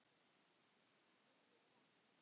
spurði ég hann.